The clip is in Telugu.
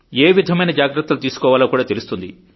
ఏవిధమైన జాగ్రత్తలు తీసుకోవాలో కాడా తెలుస్తుంది